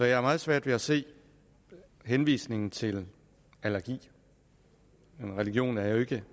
jeg har meget svært ved at se henvisningen til allergi religion er jo ikke